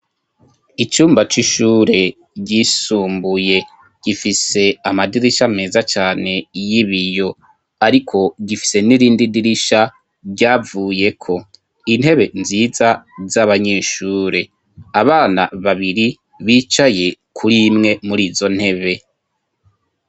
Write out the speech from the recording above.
Icumba c'ishure ryisumbuye. Gifise amadirisha meza cane y'ibiyo, ariko gifise n'irindi dirisha ryavuyeko. Intebe nziza z'abanyeshure; Abana babiri bicaye kuri imwe muri izo ntebe.